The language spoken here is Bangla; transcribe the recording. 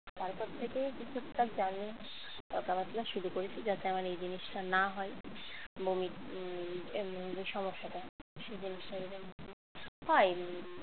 তারপর থেকে টুকটাক journey যাতায়াতটা শুরু করেছি যাতে আমার এই জিনিসটা না হয়। বমি সমস্যাটা হয়